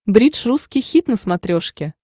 бридж русский хит на смотрешке